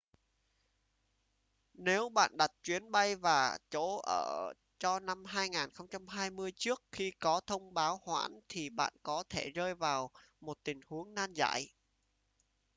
nếu bạn đặt chuyến bay và chỗ ở cho năm 2020 trước khi có thông báo hoãn thì bạn có thể rơi vào một tình huống nan giải